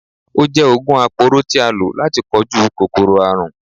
Ó jẹ oògùn aporó tí a lò láti kojú kòkòrò àrùn.